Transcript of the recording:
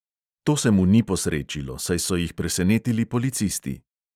To se mu ni posrečilo, saj so jih presenetili policisti.